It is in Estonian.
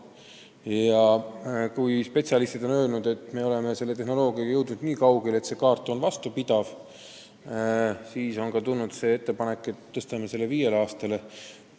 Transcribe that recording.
Aga kuna spetsialistid on öelnud, et me oleme tehnoloogiaga jõudnud nii kaugele, et kaart on vastupidavam, siis on tulnud ka ettepanek tõsta digi-ID kehtivust viiele aastale.